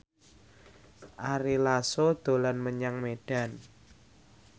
Ari Lasso dolan menyang Medan